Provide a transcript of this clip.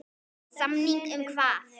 Samning um hvað?